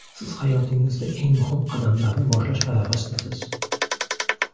Siz hayotingizda eng muhim qadamlarni boshlash arafasidasiz.